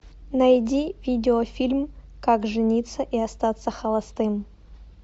найди видеофильм как жениться и остаться холостым